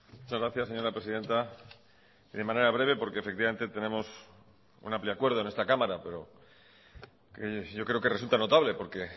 muchas gracias señora presidenta y de manera breve porque efectivamente tenemos un amplio acuerdo en esta cámara pero yo creo que resulta notable porque